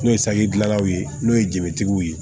N'o ye saki dilanlaw ye n'o ye jetigiw ye